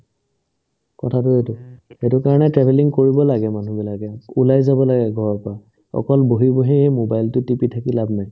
কথাটো সেইটোয়ে সেটো কাৰণে travelling কৰিব লাগে মানুহবিলাকে ওলাই যাব লাগে ঘৰৰ পৰা অকল বহি বহি মোবাইলতো টিপি লাভ নাই